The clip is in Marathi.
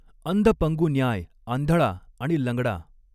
अन्धपङ्गुन्याय आंधळा आणि लंगडा